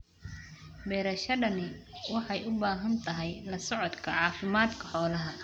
Beerashadani waxay u baahan tahay la socodka caafimaadka xoolaha.